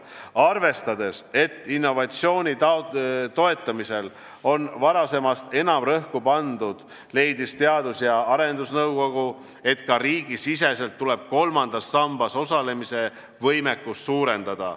Arvestades, et innovatsiooni toetamisele on varasemast enam rõhku pandud, leidis Teadus- ja Arendusnõukogu, et ka riigisiseselt tuleb kolmandas sambas osalemise võimekust suurendada.